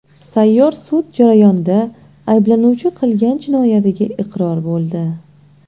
Sayyor sud jarayonida ayblanuvchi qilgan jinoyatiga iqror bo‘ldi.